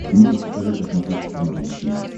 ты можешь показать на смотрешке канал рубль ти ви